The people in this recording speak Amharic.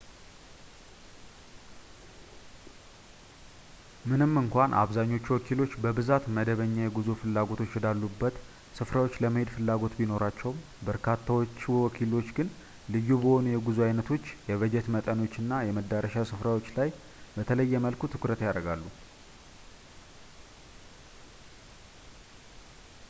ምንም እንኳን አብዛኛዎቹ ወኪሎች በብዛት መደበኛ የጉዞ ፍላጎቶች ወዳሉበት ስፍራዎች ለመሄድ ፍላጎት ቢኖራቸውም በርካታዎቹ ወኪሎች ግን ልዩ በሆኑ የጉዞ አይነቶች የበጀት መጠኖችና የመዳረሻ ስፍራዎች ላይ በተለየ መልኩ ትኩረት ያደርጋሉ